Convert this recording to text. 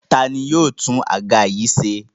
Ta ni yóò tún àga yìí ṣe?